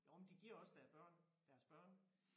Jo men de giver også deres børn deres børn